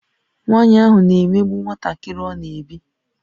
Nwanyị ahụ na-emegbu nwantakịrị ọ na-ebi